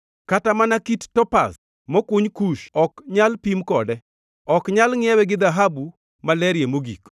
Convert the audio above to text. Kata mana kit topaz mokuny Kush + 28:19 Nying Kush machielo en Ethiopia. ok nyal pim kode; ok nyal ngʼiewe gi dhahabu malerie mogik.